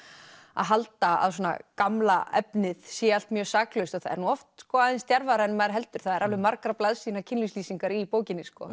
að halda að gamla efnið sé allt mjög saklaust en það er oft aðeins djarfara en maður heldur það eru alveg margra blaðsíðna kynlífslýsingar í bókinni